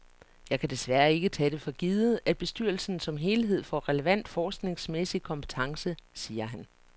Jeg kan desværre ikke tage det for givet, at bestyrelsen som helhed får relevant forskningsmæssig kompetence, siger han.